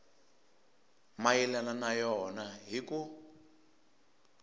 mayelana na yona hi ku